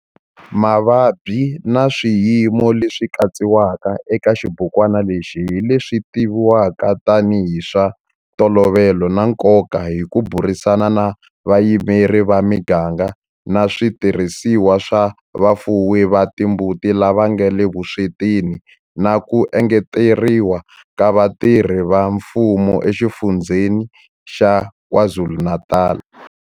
Mavabyi na swiyimo leswi katsiwaka eka xibukwana lexi hi leswi tivivwaka tanihi hi swa ntolovelo na nkoka hi ku burisana na vayimeri va miganga na switirhisiwa swa vafuwi va timbuti lava nga le vuswetini na ku engeteriwa ka vatirhi va mfumo eXifundzheni xa KwaZulu-Natal.